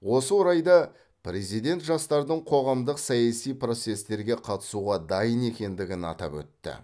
осы орайда президент жастардың қоғамдық саяси процестерге қатысуға дайын екендігін атап өтті